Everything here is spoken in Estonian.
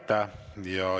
Aitäh!